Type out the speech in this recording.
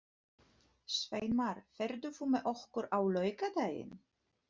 Sveinmar, ferð þú með okkur á laugardaginn?